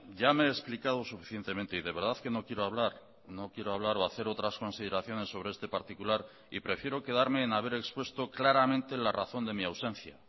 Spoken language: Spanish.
ya me he explicado suficientemente y de verdad que no quiero hablar no quiero hablar o hacer otras consideraciones sobre este particular y prefiero quedarme en haber expuesto claramente la razón de mi ausencia